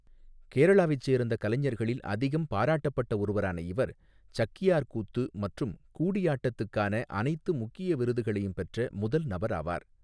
கேரளாவைச் சேர்ந்த கலைஞர்களில் அதிகம் பாராட்டப்பட்ட ஒருவரான இவர், சக்யார் கூத்து மற்றும் கூடியாட்டத்துக்கான அனைத்து முக்கிய விருதுகளையும் பெற்ற முதல் நபராவார்.